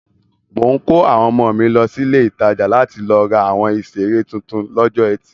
Mò ń kó àwọn ọmọ mi lọ sí ilé-ìtajà láti lọ ra àwọn ìṣeré tuntun lọ́jọ́ etì.